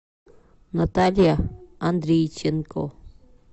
наталья андрейченко